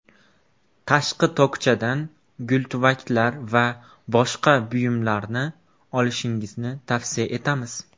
Tashqi tokchadan gultuvaklar va boshqa buyumlarni olishingizni tavsiya etamiz.